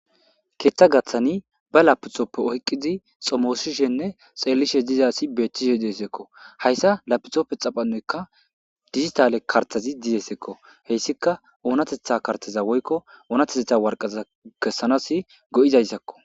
Keththa gaththan be lappitope oyqqidi xommosishene xellishe diiza asi betishe desseko hayssa lapitope xaqamoykka dijjitalle karttazi dizayssako hessika oonatehtha karttaza woykko oonatetha waraqataza kesanas goizayssako.